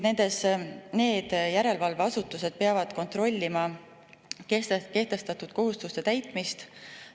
Need järelevalveasutused peavad kontrollima kehtestatud kohustuste täitmist.